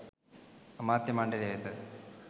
අමාත්‍ය මණ්ඩලය වෙත